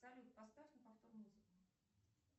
салют поставь на повтор музыку